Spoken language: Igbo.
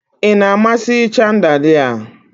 Ị na-amasị chandalia?